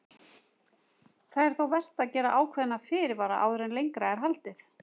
Það er þó vert að gera ákveðna fyrirvara áður en lengra er haldið.